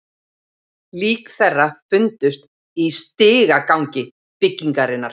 Lík þeirra fundust í stigagangi byggingarinnar